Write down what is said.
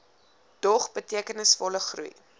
dog betekenisvolle groei